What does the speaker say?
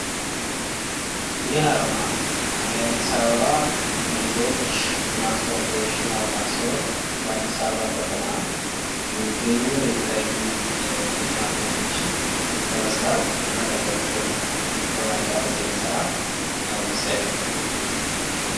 ይህ አርማ የአዲስአበባ ቤቶች ልማት ኮርፖሬሽን አርማ ሲሆን በአዲስአበባ ከተማ የሚገኙ የተለዩ የልማት ቤቶችን ለመስራት እና ለማህበረሰቡ ለማዳረስ የሚሰራ መስሪያቤት ነው ።